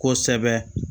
Kosɛbɛ